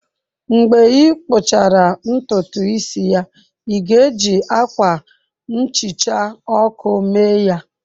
Mgbe ị kpụchara ntutu isi ya, ị ga-eji akwa nhicha ọkụ mee ya?